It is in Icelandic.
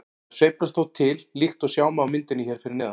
Þær sveiflast þó til líkt og sjá má á myndinni hér fyrir neðan.